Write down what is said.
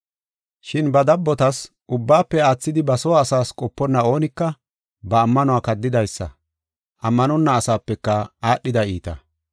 Shin ba dabbotas, ubbaafe aathidi ba soo asaas qoponna oonika ba ammanuwa kaddidaysa; ammanonna asapeka aadhida iita.